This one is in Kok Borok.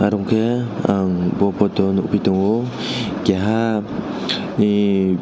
unke ang bo photo o nogpi tango keha ni.